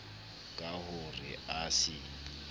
ka ho re a se